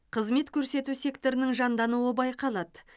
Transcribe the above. қызмет көрсету секторының жандануы байқалады